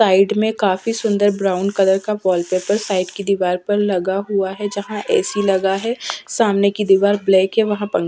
side में काफ़ी सुंदर ब्राउन कलर का वॉलपेपर साइड की दीवार पर लगा हुआ है जहाँ एसी लगा है सामने की दिवार ब्लैक है वहां--